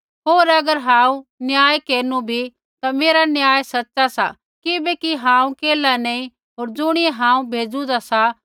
होर अगर हांऊँ न्याय केरनु भी ता मेरा न्याय सच़ा सा किबैकि हांऊँ केल्हा नैंई होर ज़ुणियै हांऊँ भेजुन्दा सा